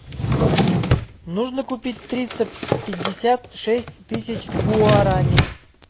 нужно купить триста пятьдесят шесть тысяч гуарани